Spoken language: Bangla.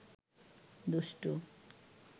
দুষ্টু